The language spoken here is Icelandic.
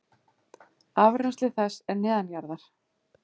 Afrennsli þess er neðanjarðar.